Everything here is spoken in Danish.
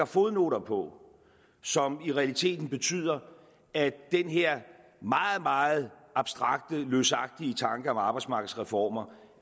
fodnoter på som i realiteten betyder at den her meget meget abstrakte løsagtige tanke om arbejdsmarkedsreformer